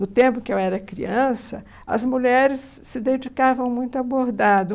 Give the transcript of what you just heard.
No tempo em que eu era criança, as mulheres se dedicavam muito a bordado.